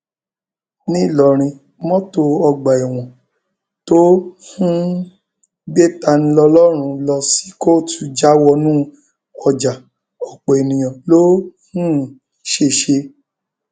nlọrọrìn mọtò ọgbà ẹwọn tó um ń gbé taniọlọrun ló sì kóòtù já wọnú ọjà ọpọ èèyàn ló um ṣèṣe